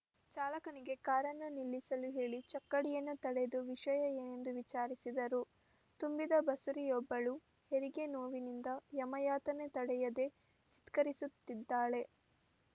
ಚಾಲಕನಿಗೆ ಕಾರನ್ನು ನಿಲ್ಲಿಸಲು ಹೇಳಿ ಚಕ್ಕಡಿಯನ್ನು ತಡೆದು ವಿಷಯ ಏನೆಂದು ವಿಚಾರಿಸಿದರು ತುಂಬಿದ ಬಸುರಿಯೊಬ್ಬಳು ಹೆರಿಗೆ ನೋವಿನಿಂದ ಯಮಯಾತನೆ ತಡೆಯದೆ ಚಿತ್ಕರಿಸುತ್ತಿದ್ದಾಳೆ